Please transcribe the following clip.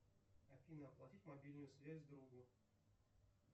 афина оплатить мобильную связь другу